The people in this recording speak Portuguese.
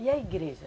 E a igreja?